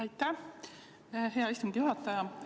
Aitäh, hea istungi juhataja!